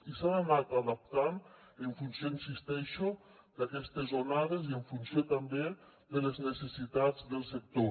i s’han anat adaptant en funció hi insisteixo d’aquestes onades i en funció també de les necessitats del sector